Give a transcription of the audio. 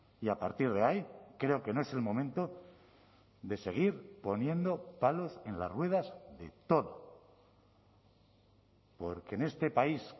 y a partir de ahí creo que no es el momento de seguir poniendo palos en las ruedas de todo porque en este país